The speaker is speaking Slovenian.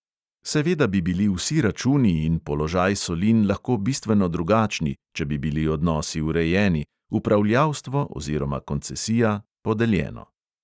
Seveda bi bili vsi računi in položaj solin lahko bistveno drugačni, če bi bili odnosi urejeni, upravljavstvo oziroma koncesija podeljeno.